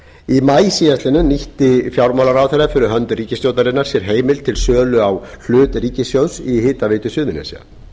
í maí síðastliðnum nýtti fjármálaráðherra fyrir hönd ríkisstjórnarinnar sér heimild til sölu á hlut ríkissjóðs í hitaveitu suðurnesja